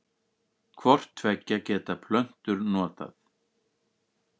Hvort tveggja geta plöntur notað.